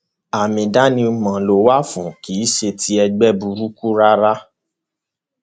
àmì ìdánimọ ló wà fún kì í ṣe ti ẹgbẹ burúkú rárá